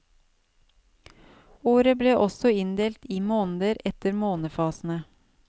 Året ble også inndelt i måneder etter månefasene.